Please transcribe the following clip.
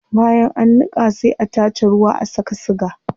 Bayan an niqa sai a tace ruwa a saka siga